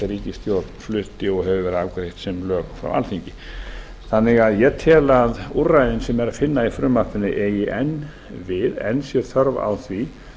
ríkisstjórn flutti og hefur verið afgreitt sem lög frá alþingi ég tel að úrræðin sem er að finna í frumvarpinu eigi enn við enn sé þörf á því